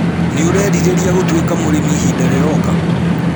Nĩ ũreerirĩria gũtũĩka mũrĩmĩ ihinda rĩroka?